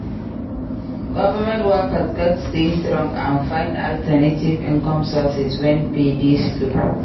Government workers gats stay strong and find alternative income sources wen pay dey slow.